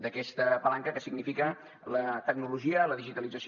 d’aquesta palanca que significa la tecnologia la digitalització